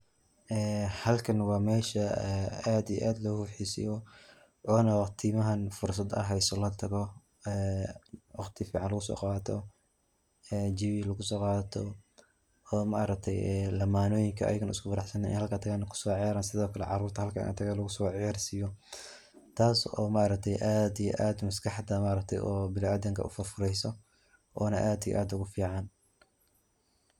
Ee halkan waa mesha aad iyo aad loo xiiseyo oona waqtimahan fursada aad hayso latago ee waqti fican laguso qaato ee jawiga kusoo qadato ee ma aragte ee lamanoyinka isku faraxsan ay halka tagan kusocayaran sidokale ay tahay carurta halka laguso cayarsiyo. Taas oo aad iyo aad ma aragte maskaxda biniadamka oo furfurayso oona aad iyo aad ogu fican.